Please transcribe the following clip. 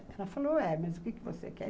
Ela falou, é, mas o que você quer?